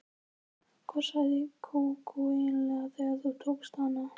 Hvað sagði Kókó eiginlega þegar þú tókst hana?